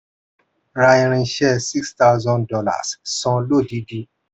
rà irinṣẹ́ six thousand dollars san lódidi.